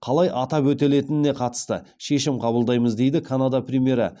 қалай атап өтілетініне қатысты шешім қабылдаймыз дейді канада премьері